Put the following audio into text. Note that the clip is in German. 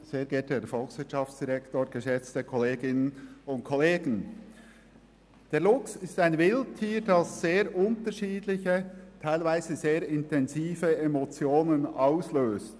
Der Luchs ist ein Wildtier, das sehr unterschiedliche und teilweise sehr intensive Emotionen auslöst.